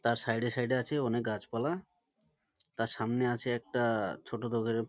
তার সাইড এ সাইড এ আছে অনেক গাছপালা তার সামনে আছে একটা-আ ছোট দুধের--